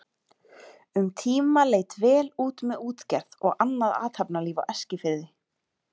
Um tíma leit vel út með útgerð og annað athafnalíf á Eskifirði.